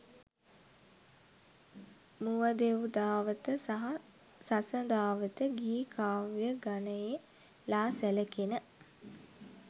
මුවදෙව්දාවත සහ සසදාවත ගී කාව්‍ය ගණයේ ලා සැලකෙන